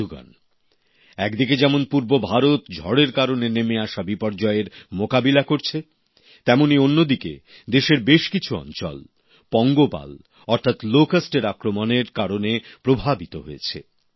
বন্ধুগণ একদিকে যেমন পূর্ব ভারত ঝড়ের কারণে নেমে আসা বিপর্যয়ের মোকাবিলা করছে তেমনই অন্যদিকে দেশের বেশ কিছু অঞ্চল পঙ্গপাল অর্থাৎ লকেস্টের আক্রমণের কারণে প্রভাবিত হয়েছে